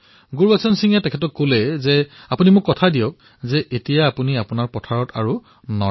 গুৰবচন সিংজীয়ে তেওঁক কলে যে আপুনি মোক কথা দিয়ক যে এতিয়াৰে পৰা আপুনি আপোনাৰ খেতিত পৰালি নজ্বলাব